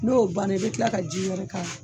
N'o banna i bɛ tila ka ji yɛrɛ k'a la